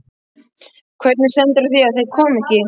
Hvernig stendur á því að þeir koma ekki?